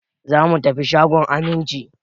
Za mu tafi shagon Aminci.